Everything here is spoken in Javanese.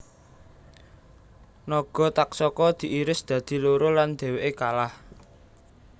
Naga Taksaka diiris dadi loro lan dheweke kalah